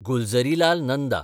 Gulzarilal Nanda